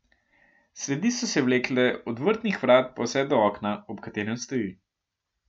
Sledi so se vlekle od vrtnih vrat pa vse do okna, ob katerem stoji.